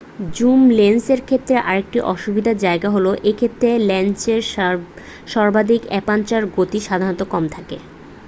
Zoom লেন্সের ক্ষেত্রে আরেকটি অসুবিধার জায়গা হল এ ক্ষেত্রে লেন্সের সর্বাধিক অ্যাপারচার গতি সাধারণত কম থাকে।